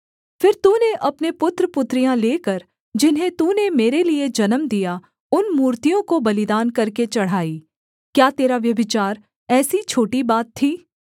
फिर तूने अपने पुत्रपुत्रियाँ लेकर जिन्हें तूने मेरे लिये जन्म दिया उन मूर्तियों को बलिदान करके चढ़ाई क्या तेरा व्यभिचार ऐसी छोटी बात थीं